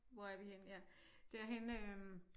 Hvor er vi henne ja derhenne øh